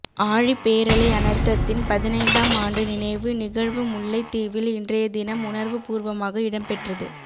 ஆழிப்பேரலை அனர்த்தத்தின் பதினைந்தாம் ஆண்டு நினைவு நிகழ்வு முல்லைத்தீவில் இன்றையதினம் உணர்வுபூர்வமாக இடம்பெற்றது